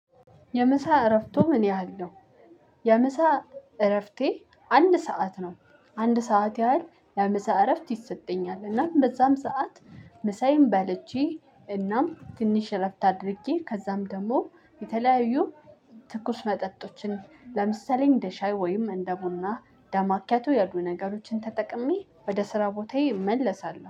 የምሳ እረፍቱ ምን ያህል ነው? የምሳ እረፍቴ አንድ ሰዓት ነው አንድ ሰዓት ያህል የምሳ እረፍት ይሰጠኛል እና በዛም ሰዓት። ምሳዬን በልቼ እናም ትንሽ እረፍት አድርጌ ከዛም ደግሞ የተለያዩ ትኩስ መጠጦችን ለምሳሌ እንደ ሻይ ወይም እንደ ቡና እንደ ማኪያቶ ያሉ ነገሮችን ተጠቅሜ ወደ ስራ ቦታዬ እመለሳለሁ